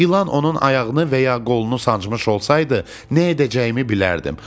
İlan onun ayağını və ya qolunu sancmış olsaydı, nə edəcəyimi bilərdim.